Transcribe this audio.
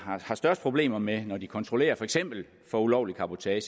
har størst problemer med når de kontrollerer for eksempel for ulovlig cabotage